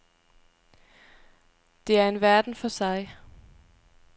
Det er en verden for sig.